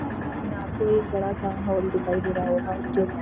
image में आपको एक बड़ा सा हॉल दिखाई दे रहा है हॉल जो --